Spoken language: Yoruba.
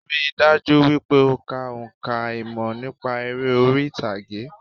Rí i dájú wípé o kà nípa ìmọ̀ nípa eré orí ìtàgé